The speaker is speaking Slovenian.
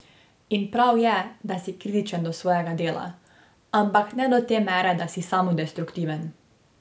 In prav je, da si kritičen do svojega dela, ampak ne do te mere, da si samodestruktiven.